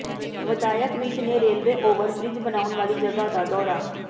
ਵਿਧਾਇਕ ਵਿੱਜ ਨੇ railway over bridge ਬਣਾਉਣ ਵਾਲੀ ਜਗ੍ਹਾ ਦਾ ਦੌਰਾ